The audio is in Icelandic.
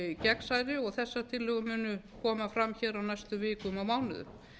gegnsærri og þessar tillögur munu koma fram á næstu vikum og mánuðum